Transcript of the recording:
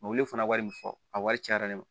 fana wari min fɔ a wari cayara ne ma